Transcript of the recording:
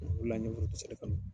O re la n ye foronto sɛnɛ kanu.